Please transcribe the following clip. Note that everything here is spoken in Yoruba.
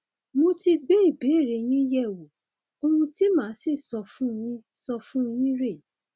mo ti gbé ìbéèrè yín yẹwò ohun tí màá sì sọ fún yín sọ fún yín rèé